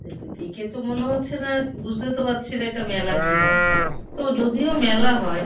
এটা দেখে তো মনে হচ্ছে না বুঝতে তো পারছি না। এটা মেলা কিনা। তো যদিও মেলা হয় --